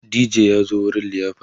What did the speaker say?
DJ ya zo wurin liyafar